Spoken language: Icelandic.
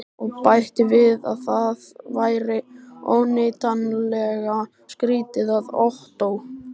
Og bætti við að það væri óneitanlega skrýtið, að Ottó